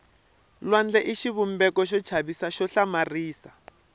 lwandle i xivumbeko xo chavisa xo hlamarisa